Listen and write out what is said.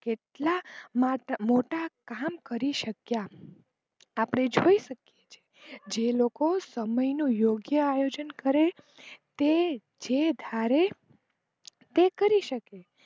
એટલા મોટા કામ કરી શક્યા આપણે જોઈ શકીયે છે જે લોકો સમય નું યોગ્ય અયોજન કરે તે જે ધારે તે કરી શકે.